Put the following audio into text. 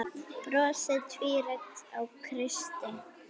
Brosið tvírætt á Kristi.